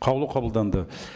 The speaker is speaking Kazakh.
қаулы қабылданды